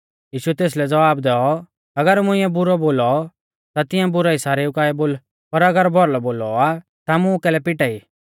यीशुऐ तेसलै ज़वाब दैऔ अगर मुंइऐ बुरौ बोलौ ता तिंया बुराई सारेऊ काऐ बोल पर अगर भौलौ बोलौ आ ता मुं कैलै पिटाई